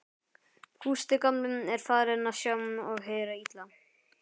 Gústi gamli er farinn að sjá og heyra illa.